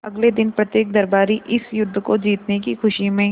अगले दिन प्रत्येक दरबारी इस युद्ध को जीतने की खुशी में